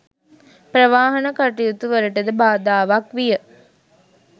ප්‍රවාහන කටයුතු වලටද බාධාවක් විය